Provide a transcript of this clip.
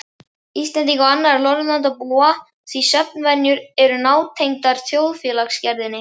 Íslendinga og annarra Norðurlandabúa því svefnvenjur eru nátengdar þjóðfélagsgerðinni.